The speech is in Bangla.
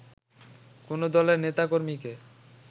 কোন দলের নেতাকর্মীকে